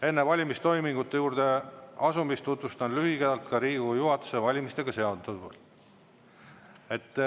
Enne valimistoimingute juurde asumist tutvustan lühidalt ka Riigikogu juhatuse valimistega seonduvat.